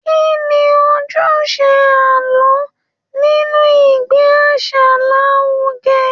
Kí ni ojúṣe àlọ́ nínú ìgbé àṣà lárugẹ?